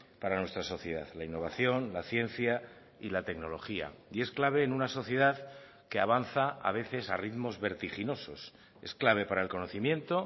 para nuestra sociedad la innovación la ciencia y la tecnología y es clave en una sociedad que avanza a veces a ritmos vertiginosos es clave para el conocimiento